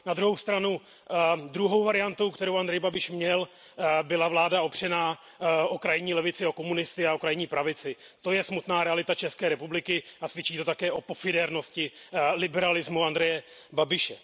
Na druhou stranu, druhou variantou, kterou Andrej Babiš měl, byla vláda opřená o krajní levici o komunisty a o krajní pravici. To je smutná realita České republiky a svědčí to také o pofidérnosti liberalismu Andreje Babiše.